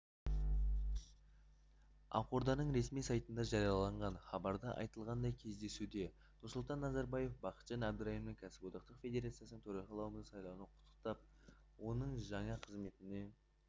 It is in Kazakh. ақорданың ресми сайтында жарияланған хабарда айтылғандай кездесуде нұрсұлтан назарбаев бақытжан әбдірайымды кәсіподақтар федерациясының төрағасы лауазымына сайлануымен құттықтап оның жаңа қызметіне